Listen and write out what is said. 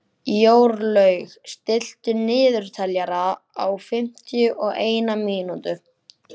Jórlaug, stilltu niðurteljara á fimmtíu og eina mínútur.